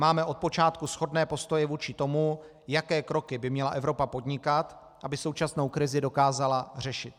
Máme od počátku shodné postoje vůči tomu, jaké kroky by měla Evropa podnikat, aby současnou krizi dokázala řešit.